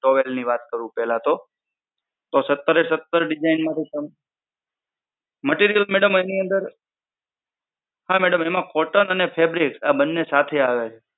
towel ની વાત કરું પેહલા તો, તો સત્તરે સત્તર design માંથી તમારે material madam એની અંદર હા madam એમા cotton અને fabric આ બંને સાથે આવે છે.